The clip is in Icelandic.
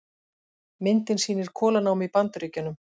Myndin sýnir kolanámu í Bandaríkjunum.